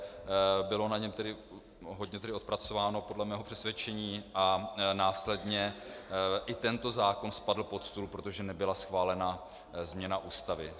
Bylo na něm tedy hodně odpracováno podle mého přesvědčení a následně i tento zákon spadl pod stůl, protože nebyla schválena změna Ústavy.